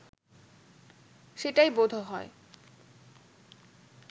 সেটাই বোধহয়